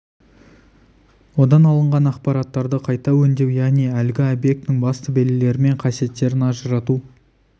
одан алынған ақпараттарды қайта өңдеу яғни әлгі объектінің басты белгілері мен қасиеттерін ажырату